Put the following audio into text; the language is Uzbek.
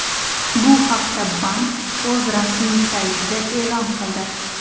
Bu haqda bank o‘z rasmiy saytida e’lon qildi .